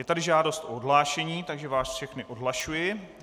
Je tady žádost o odhlášení, takže vás všechny odhlašuji.